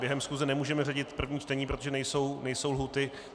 Během schůze nemůžeme řadit první čtení, protože nejsou lhůty.